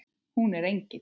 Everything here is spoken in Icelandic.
Hún er engill.